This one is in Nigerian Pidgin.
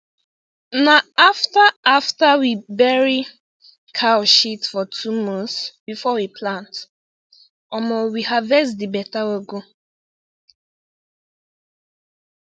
na after after we bury cow shit for two months before we plant omo we harvest di beta ugu